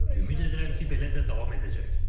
Ümid edirəm ki, belə də davam edəcək.